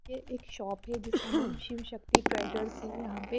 फिर एक शॉप है जिसका नाम शिव शक्ति ट्रेडर्स है यहां पे--